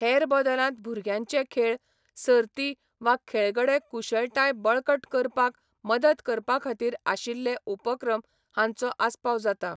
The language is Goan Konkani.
हेर बदलांत भुरग्यांचे खेळ, सर्ती वा खेळगडे कुशळटाय बळकट करपाक मदत करपा खातीर आशिल्ले उपक्रम हांचो आस्पाव जाता.